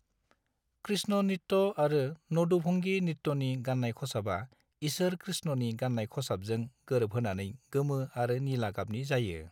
कृष्ण नृत्य आरो नदुभंगी नृत्यनि गाननाय खसाबा ईसोर कृष्णनि गाननाय खसाबजों गोरोबहोनानै गोमो आरो निला गाबनि जायो।